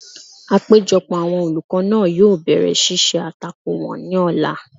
Àpéjọpọ̀ àwọn olùkọ́ náà yóò bẹ̀rẹ̀ ṣíṣe àtakò wọn ní ọ̀la